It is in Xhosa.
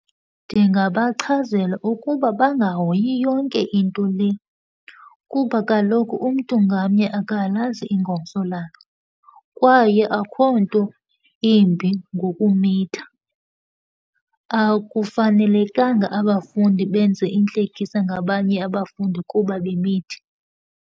Ndingabachazela ukuba bangahoyi yonke into le kuba kaloku umntu ngamnye akalazi ingomso lakhe. Kwaye akukho nto imbi ngokumitha. Akufanelekanga abafundi benze intlekisa ngabanye abafundi kuba bemithi.